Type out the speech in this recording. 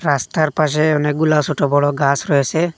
রাস্তার পাশে অনেকগুলা সোটো বড় গাস রয়েসে।